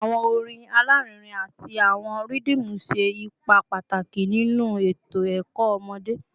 Awọn orin alarinrin ati awọn rhythmu ṣe ipa pataki ninu eto ẹkọ ọmọde